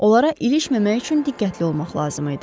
Onlara ilişməmək üçün diqqətli olmaq lazım idi.